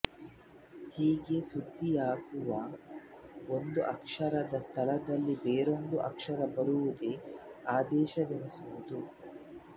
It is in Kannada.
ಹೀಗೆ ಸಂಧಿ ಯಾಗುವಾಗ ಒಂದು ಅಕ್ಷರದ ಸ್ಥಳದಲ್ಲಿ ಬೇರೊಂದು ಅಕ್ಷರ ಬರುವುದೇ ಆದೇಶವೆನಿಸುವುದು